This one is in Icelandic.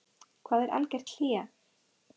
Hvað er algert hlé?